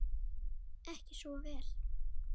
Ekki svo vel?